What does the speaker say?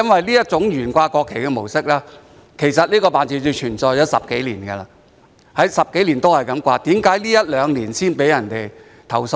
這種懸掛國旗的模式，其實在該辦事處已存在10多年，既然10多年來也是這麼懸掛，為何在這一兩年才被人投訴呢？